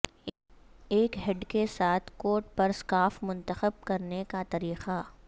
ایک ہڈ کے ساتھ کوٹ پر سکارف منتخب کرنے کا طریقہ